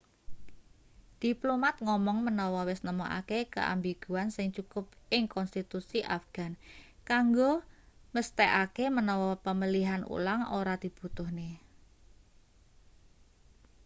diplomat ngomong menawa wis nemokake keambiguan sing cukup ing konstitusi afghan kanggo mesthekake menawa pemilihan ulang ora dibutuhne